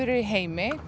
í heimi